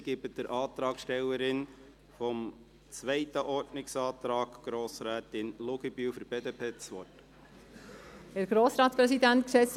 Ich gebe der Antragstellerin des zweiten Ordnungsantrags, Grossrätin Luginbühl, für die BDP das Wort.